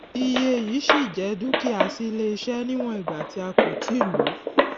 iye yii ṣí jẹ dúkìá sí iléiṣẹ níwọn ìgbà tí a kò ti lo